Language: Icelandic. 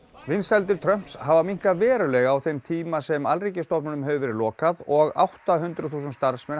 vinsældir Trumps hafa minnkað verulega á þeim tíma sem stofnanir hafa verið lokaðar og átta hundruð þúsund starfsmenn